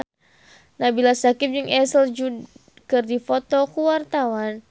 Nabila Syakieb jeung Ashley Judd keur dipoto ku wartawan